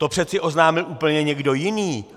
To přeci oznámil úplně někdo jiný.